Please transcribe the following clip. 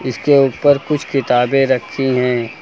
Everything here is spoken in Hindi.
इसके ऊपर कुछ किताबें रखी हैं।